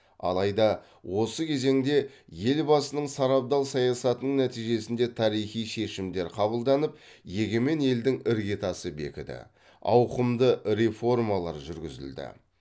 алайда осы кезеңде елбасының сарабдал саясатының нәтижесінде тарихи шешімдер қабылданып егемен елдің іргетасы бекіді ауқымды реформалар жүргізілді